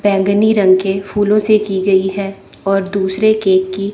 बैंगनी रंग के फूलों से की गई है और दुसरे केक की--